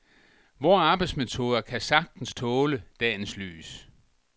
Vore arbejdsmetoder kan sagtens tåle dagens lys.